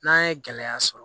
N'an ye gɛlɛya sɔrɔ